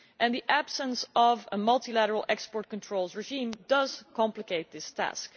The absence of a multilateral export controls regime does complicate this task.